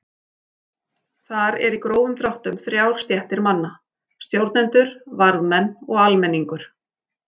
Þar eru í grófum dráttum þrjár stéttir manna: Stjórnendur, varðmenn og almenningur.